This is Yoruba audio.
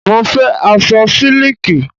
Mo fẹ́ aṣọ sílíkì.